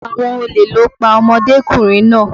Àwọn olè ló pa ọmọdékùnrin náà.